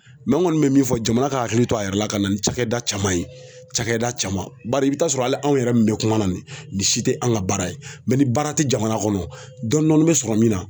n kɔni bɛ min fɔ jamana ka hakili to a yɛrɛ la ka na ni cakɛda caman ye cakɛda caman bari i bɛ t'a sɔrɔ hali anw yɛrɛ min bɛ kuma na nin si tɛ an ka baara ye ni baara tɛ jamana kɔnɔ dɔɔni dɔɔni bɛ sɔrɔ min na